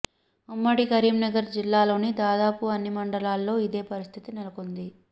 ఉమ్మడి కరీంనగర్ జిల్లాలోని దాదాపు అన్ని మండలాల్లో అదే పరిస్థితి నెలకొంది